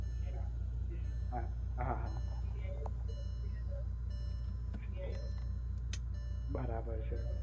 હા હા હા બરાબર છે